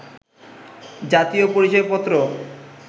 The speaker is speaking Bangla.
জাতীয় পরিচয় পত্র